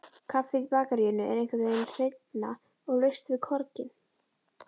Kaffið í bakaríinu er einhvernveginn hreinna, og laust við korginn.